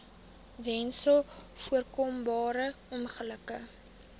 weens voorkombare ongelukke